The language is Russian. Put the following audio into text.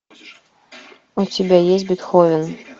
у тебя есть бетховен